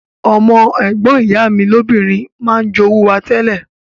Ọmọ ègbon ìyá mi lobìnrin ma n jowú wa tẹ́lẹ̀